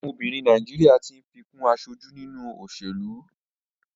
Àwọn obìnrin Nàìjíríà tí ń fi kún aṣojú nínú òṣèlú.